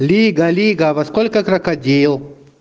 лига лига во сколько крокодил